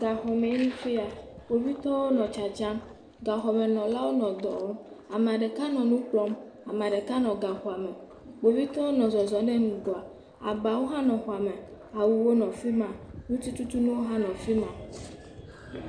Gaxɔmee nye fi ya. Kpovitɔwo nɔ tsatsam. Gaxɔmenɔlawo nɔ dɔ wɔm. Ame ɖeka nɔ nu kplɔm. Ame ɖeka nɔ gaxɔa me Kpovitɔwo nɔ zɔzɔ ɖe ŋgɔa. Abawo hã nɔ xɔa me. Awuwo nɔ afi ma. Ŋutitutunuwo hã nɔ afi ma.